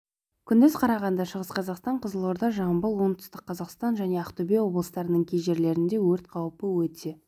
күндіз қарағанды шығыс қазақстан қызылорда жамбыл отүстік қазақстан және ақтөбе облыстарының кей жерлерінде өрт қаупі өте